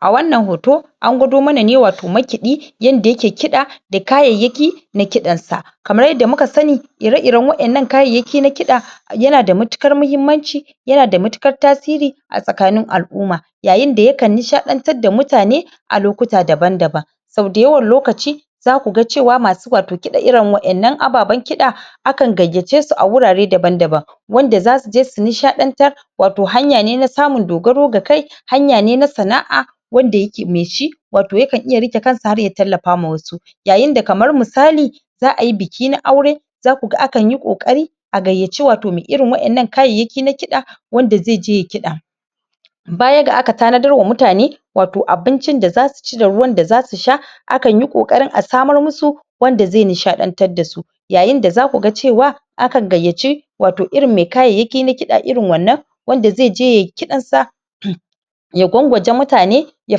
a wannan hoto an gwado mana ne watau makiɗi yanda yake kiɗa d kayayyakina kidan sa kamar yadda muka sani ire-iren wa'innan kayayyaki na kiɗa yana da matuƙar mahimmanci yana da matiƙar tasiri a taskanin al'umma yayin da yakan nishaɗantar da mutane a lokuta daban daban sau dayawan lokaci zaku ga cewa masu watau kiɗa irin wa'innan ababen kiɗa akan gayyace su a wurare daban daban wanda zasu je su nishaɗantar watau hanya ne na samun dogaro ga kai hanya ne na sana'a wanda yake mai shi watau yakan iya riƙe kansa har ya tallafa ma wasu yayin da kamar misali za ayi biki na aure zaku akan yi ƙoƙari a gayyaci watau mai irin wa'innan kayayyaki na kiɗa wanda zai je yayi kiɗa baya ga aka tanadar wa mutane watau abincin da zasu ci da ruwan da zasu sha akan yi ƙoƙarin a samar musu wanda zai nishaɗantar da su yayin da zaku ga cewa akan gayyaci watau irin mai kayayyakina kiɗa irin wannan wanda zai je yayi kiɗansa ya gwangwaje mutane ya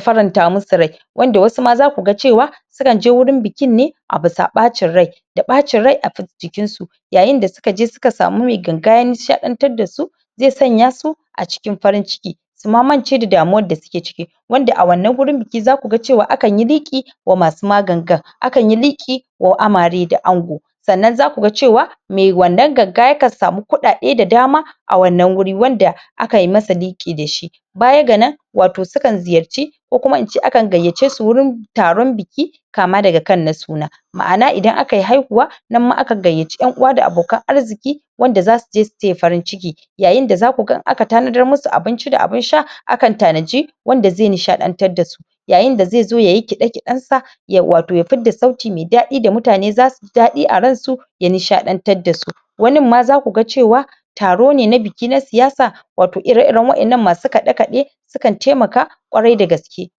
faranta musu rai wanda wasu ma zaku ga cewa sukan je wurin bikin ne a bisa ɓacin rai da ɓacin rai a jikin su yayin da suka je suka samu mai ganga ya nishaɗantar da su zai sanya su a cikin farin ciki su ma mance da damuwar da suke ciki Wanda a wanna wurin biki zaku ga cewa akan yi liƙi wa masu ma gangan akan yi liƙi wa amare da ango sannan zaku ga cewa mai wannan ganga yakan samu kuɗaɗe da dama a wannan wuri wanda akayi masa liƙi da shi baya ga nanwatau sukan ziyarci ko kuma ince akan gayyace su wurin taron biki kama daga kan na suna ma'ana idan aka yi haihuwa nan ma akan gayyaci ƴan uwa da abokan arziki wanda zasu je su taya farin ciki yayin da zaku ga idan aka tanadar musu abinci da abun sha akan tanaji wanda zai nishaɗantar da su yayin da zai zo yayi kiɗe-kiɗensa yauwa to ya fidda sauti mai daɗi da mutane zasu yi daɗi a ransu ya nishaɗantar da su wanin ma zaku ga cewa taro ne na biki na siyasa watau ire-iren wa'innan masu kiɗe-kiɗe sukan taimaka ƙwarai da gaske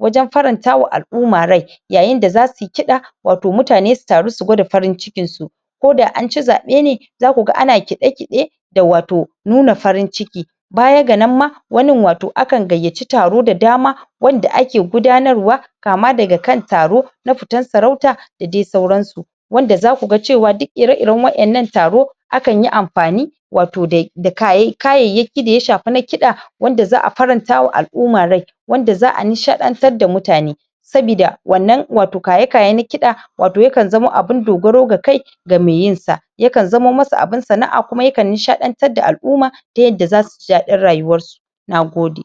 wajen farantawa al'umma rai yayin da zasu yi kiɗa watau mutane su taru su gwada farin cikinsu ko da an ci zaɓe ne zaku ga ana kiɗe-kiɗe da watau nuna farin ciki baya ga nan ma wanin watau akan gayyaci taro da dama wanda ake gudanarwa kama daga kan taro na fitan sarauta da dai sauransu wanda zaku ga cewa duk ire-iren wa'innan taro akan yi amfani watau da kayayyaki da ya shafi na kiɗa wanda za a farantawa al'umma rai wanda za a nishaɗantar da mutane sabida wannan watau kaye kaye na kiɗa watau yakan zama abun dogaro ga kai ga mai yin sa yakan zamo masa abun sana'a kuma yakan nishaɗantar da al'umma ta yadda zasu ji daɗin rayuwar su. Nagode